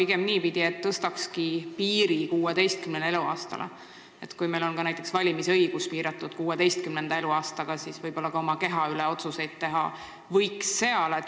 Meil on valimisõiguse alampiir 16 eluaastat ja alates sellest vanusest võib-olla suudetakse ka oma keha puudutavaid otsuseid teha.